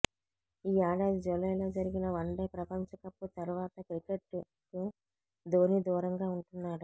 ఈ ఏడాది జూలైలో జరిగిన వన్డే ప్రపంచకప్ తర్వాత క్రికెట్కు ధోనీ దూరంగా ఉంటున్నాడు